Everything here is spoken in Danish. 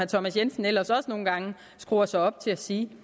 thomas jensen ellers også nogle gange skruer sig op til at sige